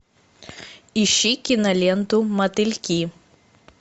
ищи киноленту мотыльки